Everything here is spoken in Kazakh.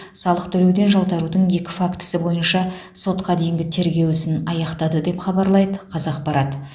салық төлеуден жалтарудың екі фактісі бойынша сотқа дейінгі тергеу ісін аяқтады деп хабарлайды қазақпарат